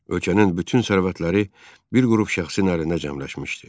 Ölkənin bütün sərvətləri bir qrup şəxsin əlində cəmləşmişdi.